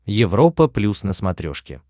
европа плюс на смотрешке